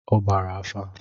Ọ gbara afa